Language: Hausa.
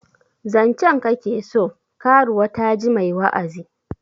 Zancen ka ke so? karuwa ta ji mai wa'azi